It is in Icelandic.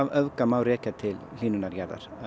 öfga má rekja til hlýnunar jarðar